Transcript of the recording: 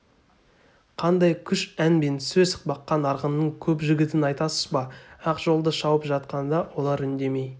қандай күш ән мен сөз баққан арғынның көп жігітін айтасыз ба ақжолды шауып жатқанда олар үндемей